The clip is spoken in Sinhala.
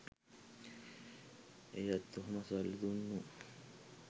එයත් ඔහොම සල්ලි දුන්නු